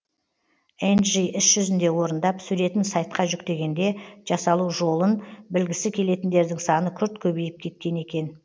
энджи іс жүзінде орындап суретін сайтқа жүктегенде жасалу жолын білгісі келетіндердің саны күрт көбейіп кеткен екен